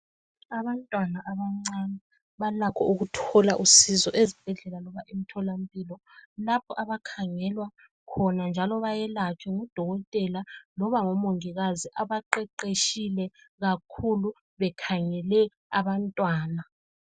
Abantwana abancane balakho ukuthola usizo ezibhedlela loba emtholampilo lapho abakhangelwa khona njalo bayelatshwe ngudokotela loba ngomongikazi abaqeqeshile kakhulu bekhangele abantwana.